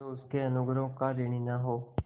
जो उसके अनुग्रहों का ऋणी न हो